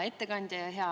Hea ettekandja!